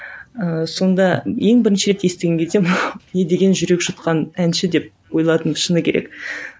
ыыы сонда ең бірінші рет естіген кезде мынау не деген жүрек жұтқан әнші деп ойладым шыны керек